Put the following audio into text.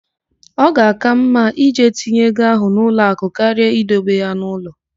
Ọ ga-àká mma ije tinye ego ahụ n'ụlọakụ karịa idebe ya n'ụlọ.